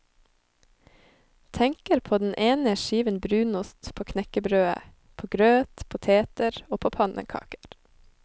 Tenker på den ene skiven brunost på knekkebrødet, på grøt, poteter og på pannekaker.